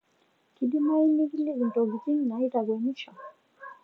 kidimayu nikiliki ntokitin naitakwenisho